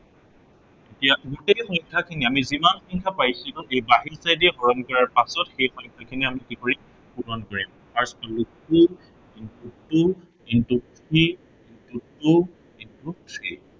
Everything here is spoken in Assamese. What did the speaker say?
ইয়াত গোটেই সংখ্য়াখিনি, আমি যিমান সংখ্য়া পাইছিলো এই দি হৰণ কৰাৰ পাছত সেই সংখ্য়াখিনি আমি কি পূৰণ কৰিম। fast পালো two, into two, into three, into two, into three